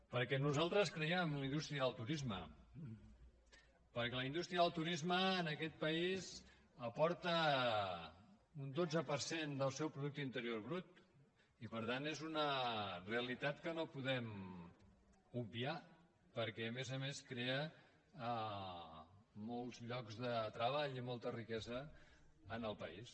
perquè nosaltres cre·iem en una indústria del turisme perquè la indústria del turisme en aquest país aporta un dotze per cent del seu producte interior brut i per tant és una realitat que no podem obviar perquè a més a més crea molts llocs de treball i molta riquesa en el país